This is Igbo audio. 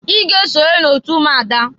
I ga esonye n'otu ụmụada!